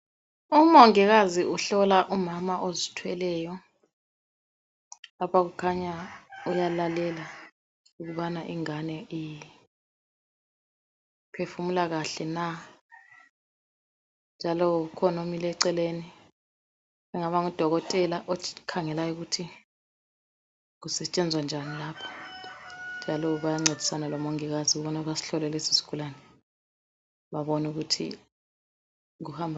Umongikazi uhlola umama ozithweleyo. Lapha kukhanya uyalalela ukubana ingane iphefumula kahle na. Njalo ukhona omile eceleni ongaba ngudokotela okhangela ukuthi kusetshenzwa njani lapha njalo bayancedisana lomongikazi ukubana basihlole isigulani ukubana kuhamba njani lapha.